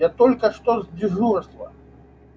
я только что с дежурства